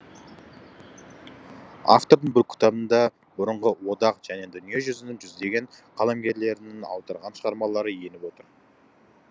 автордың бұл кітабында бұрынғы одақ және дүниежүзінің жүздеген қаламгерлерінен аударған шығармалары еніп отыр